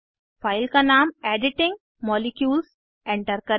file का नाम editing molecules enter करें